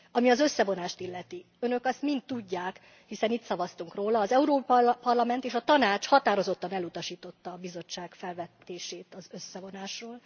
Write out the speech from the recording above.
Ami az összevonást illeti Önök azt mind tudják, hiszen itt szavaztunk róla az Európai Parlament és a Tanács határozottan elutasította a Bizottság felvetését az összevonásról.